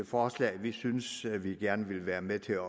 forslaget vi synes vi gerne vil være med til